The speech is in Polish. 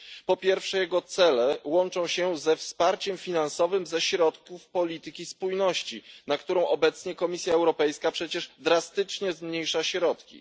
Po pierwsze, jego cele łączą się ze wsparciem finansowym ze środków w ramach polityki spójności, na którą obecnie Komisja Europejska przecież drastycznie zmniejsza środki.